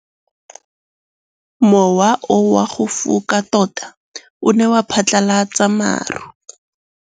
Mowa o wa go foka tota o ne wa phatlalatsa maru.